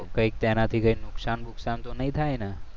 તો કંઈક એનાથી કંઈ નુકસાન નુકસાન તો નહીં થાય ને?